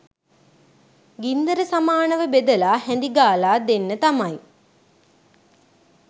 ගින්දර සමානව බෙදලා හැඳි ගාලා දෙන්න තමයි.